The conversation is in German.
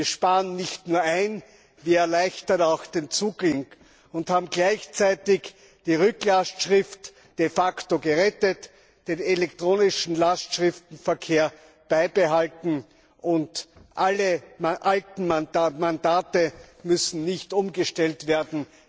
Wir sparen nicht nur ein, wir erleichtern auch den Zugang und haben gleichzeitig die Rücklastschrift de facto gerettet, den elektronischen Lastschriftverkehr beibehalten, und alle alten Mandate müssen nicht umgestellt werden.